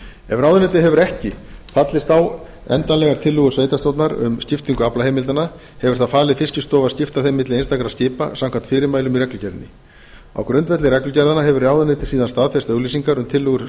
ráðuneytið hefur ekki fallist á endanlegar tillögur sveitarstjórnar um skiptingu aflaheimildanna hefur það falið fiskistofu að skipta þeim milli einstakra skipa samkvæmt fyrirmælum í reglugerðinni á grundvelli reglugerðanna hefur ráðuneytið síðan staðfest auglýsingar um tillögur